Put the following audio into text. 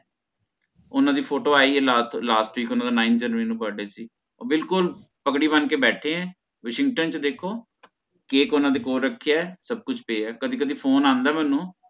ਓਹਨਾਂ ਦੀ ਫੋਟੋ ਆਈ ਹੈ last week ਓਹਨਾਂ ਦਾ nine january ਨੂੰ birthday ਸੀ ਓਹ ਬਿਲਕੁਲ ਪਗੜੀ ਬਣ ਕੇ ਬੇਥੇ ਹੈ washington ਚ ਦੇਖੋ cake ਓਹਨਾਂ ਦੇ ਕੋਲ ਰਖਯਾ ਹੈ ਸਬ ਕੁਛ ਪਿਆ ਹੈ ਕਦੇ ਕਦੇ ਫੋਨ ਆਂਦਾ ਹੈ ਓਹਨਾਂ ਦਾ ਮੇਨੂ